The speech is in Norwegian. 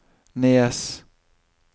Nes